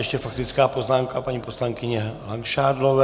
Ještě faktická poznámka paní poslankyně Langšádlové.